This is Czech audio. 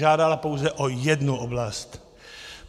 Žádala pouze o jednu oblast.